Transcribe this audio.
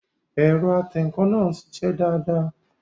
Ẹ̀rọ atẹǹkan náà ń sisẹ́ dáadáa